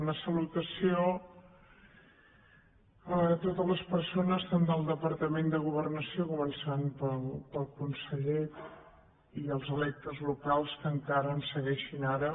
una salutació a totes les persones tant del departament de governació començant pel conseller com dels electes locals que encara ens segueixin ara